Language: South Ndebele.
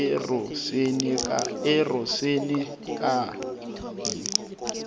erosenekayi